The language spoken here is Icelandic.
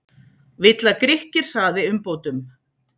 Vill að Grikkir hraði umbótum